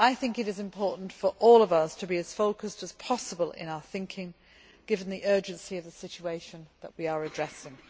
It is important for all of us to be as focused as possible in our thinking, given the urgency of the situation that we are addressing.